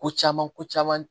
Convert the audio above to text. Ko caman ko caman